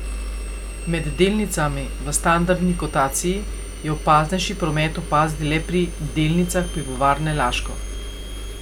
Med delnicami v standardni kotaciji je opaznejši promet opaziti le pri delnicah Pivovarne Laško.